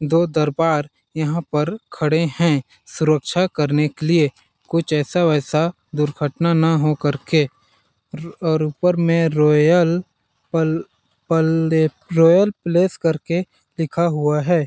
दो दरबार यहाँ पर खड़े है सुरक्षा करने के लिए कुछ ऐसा-वैसा दुर्घटना ना हो कर के और ऊपर में रॉयल पल पल्ले रॉयल प्लस कर के लिखा हुआ है।